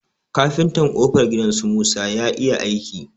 Kafintan ƙofar gidan su musa ya iya aiki.